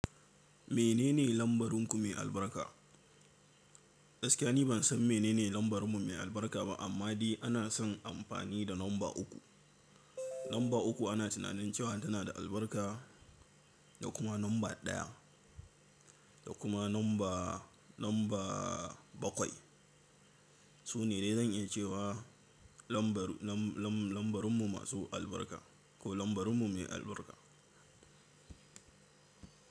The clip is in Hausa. Menene lambarinku mai albarka? Gaskiya ni ban san menene lambarmu mai albarka ba amma dai ana son amfani da namba uku. Lamba uku ana tunanin cewa tana da albarka da kuma namba ɗaya da kuma lamba, lamba bakwai. Su ne dai zan iya cewa lambar, lam-lam-lambarmu masu albarka ko lambarmu mai albarka.